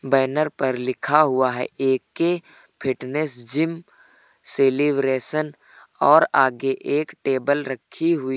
banner पर लिखा हुआ है ए_के फिटनेस जिम सेलिब्रेशन और आगे एक टेबल रखी हुई --